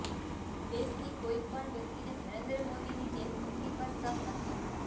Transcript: દેશની કોઇપણ વ્યક્તિને નરેન્દ્ર મોદીની દેશભક્તિ પર શક નથી